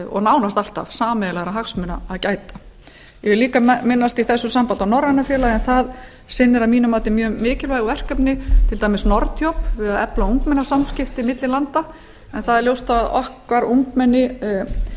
og nánast alltaf sameiginlegra hagsmuna að gæta ég vil líka minnast í þessu sambandi á norræna félagið en það sinnir að mínu mati mjög mikilvægu verkefni til dæmis nordjob við að efla ungmennasamskipti milli landa en það er ljóst að það er